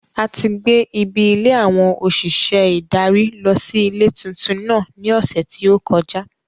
A ti gbé Ibi ilé àwọn òṣìṣẹ́ ìdarí lọ sí ilé tuntun náà ní ọ̀sẹ̀ tí ó kọjá.